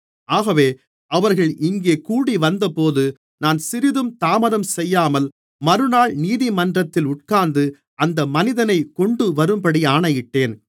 ஆகவே அவர்கள் இங்கே கூடிவந்தபோது நான் சிறிதும் தாமதம் செய்யாமல் மறுநாள் நீதிமன்றத்தில் உட்கார்ந்து அந்த மனிதனைக் கொண்டுவரும்படி ஆணையிட்டேன்